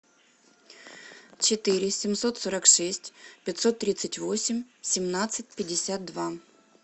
четыре семьсот сорок шесть пятьсот тридцать восемь семнадцать пятьдесят два